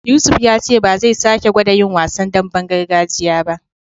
Yusuf ya ce ba zai sake gwada yin wasan damben gargajiya ba.